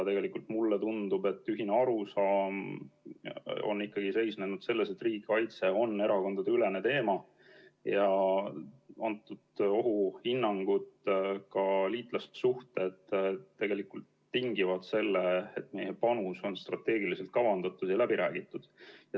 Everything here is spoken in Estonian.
Tegelikult mulle tundub, et ühine arusaam on ikkagi seisnenud selles, et riigikaitse on erakondadeülene teema ja antud ohuhinnangud, ka liitlassuhted tingivad selle, et meie panus on strateegiliselt kavandatud ja läbi räägitud.